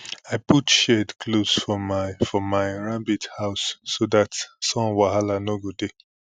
i put shade cloths for my for my rabbit house so that sun wahala no go dey